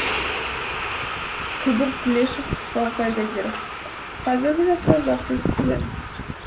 күбір тлешов соғыс ардагері қазіргі жастар жақсы өсіп келеді